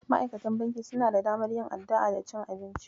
Ma'aikatan banki suna da damar yin addu'a da cin abinci.